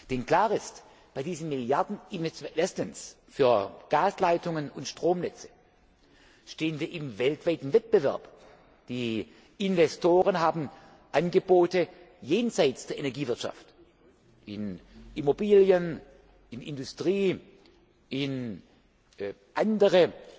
Denn klar ist Bei diesen Milliardeninvestitionen für Gasleitungen und Stromnetze stehen wir im weltweiten Wettbewerb. Die Investoren haben Angebote jenseits der Energiewirtschaft, in Immobilien, in Industrie, in andere